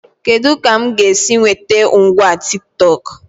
Kedụ ka mụ ga-esi nwete ngwa Tiktọk?